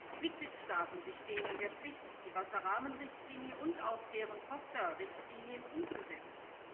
Die Mitgliedstaaten stehen in der Pflicht, die Wasser Rahmenrichtlinie und auch deren Tochterrichtlinien umzusetzen.